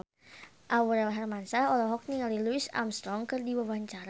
Aurel Hermansyah olohok ningali Louis Armstrong keur diwawancara